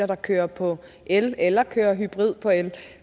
der kører på el eller kører hybrid på el